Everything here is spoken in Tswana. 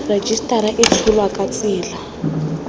rejisetara e tsholwa ka tsela